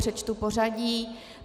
Přečtu pořadí.